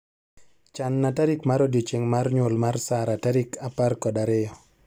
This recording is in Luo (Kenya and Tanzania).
Chan na tarik mar odiechieng' mar nyuol mar Sarah tarik apar kod ariyo